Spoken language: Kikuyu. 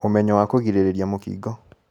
ũmenyo wa kũgirĩrĩria mũkingo